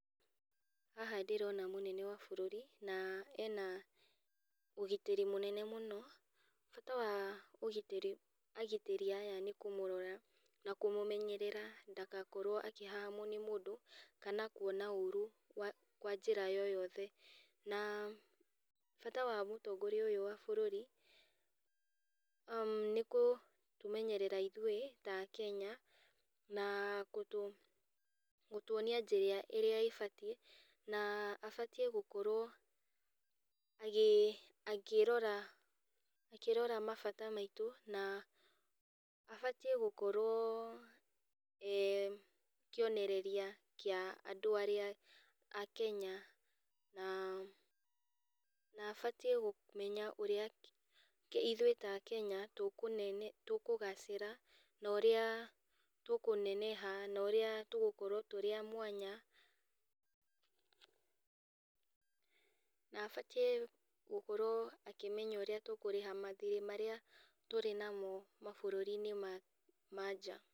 Haha ndĩrona mũnene wa bũrũri, na ena ũgitĩri mũnene mũno, bata wa ũgitĩri agitĩri aya nĩkũmũrora, na kũmũmenyerera ndagakorwo akĩhahamwo nĩ mũndũ, kana kuona ũru wa njĩra yoyothe, na bata wa mũtongoria ũyũ wa bũrũri, nĩkũtũmenyerera ithuĩ, ta akenya, na kũtũ gũtuonia njĩra ĩrĩa ĩbatiĩ, na abatiĩ gũkorwo agĩ akĩrora akĩrora mabata maitũ, na abatiĩ gũkorwo e kionereria kĩa andũ arĩa a Kenya, na na abatiĩ kũmenya ũrĩa ithuĩ ta akenya tũkũne tũkũgacĩra, na ũrĩa tũkũneneha na ũrĩa tũgũkorwo tũrĩ a mwanya, na abatiĩ gũkorwo akĩmenya ũrĩa tũkũrĩha mathirĩ marĩa tũrĩ namo mabũrũrinĩ ma manja.